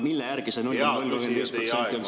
Mille järgi see 0,035% on saadud?